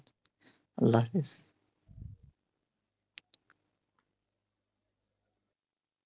আল্লাহ হাফেজ।